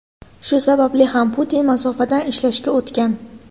Shu sababli ham Putin masofadan ishlashga o‘tgan.